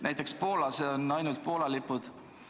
Näiteks Poolas on väljas ainult Poola lipud.